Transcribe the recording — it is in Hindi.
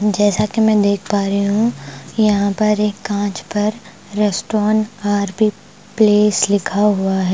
जैसा कि मैं देख पा रही हूँ यहाँ पर एक काँच पर रेस्टोरेंट बार भी प्लेस लिखा हुआ है।